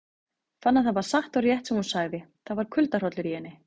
Fann að það var satt og rétt sem hún sagði, það var kuldahrollur í henni.